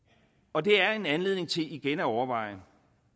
og det er en anledning til igen at overveje